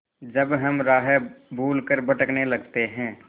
जब हम राह भूल कर भटकने लगते हैं